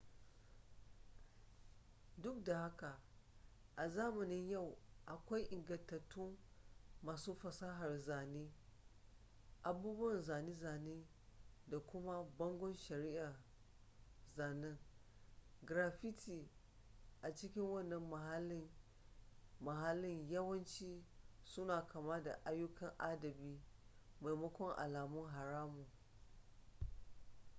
duk da haka a zamanin yau akwai ingantattun masu fasahar zane abubuwan zane-zane da kuma bangon shari'a zanen graffiti a cikin wannan mahallin yawanci suna kama da ayyukan adabi maimakon alamun haramun